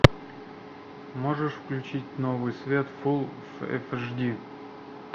можешь включить новый свет фулл эйч ди